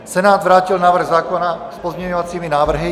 Senát vrátil návrh zákona s pozměňovací návrhy.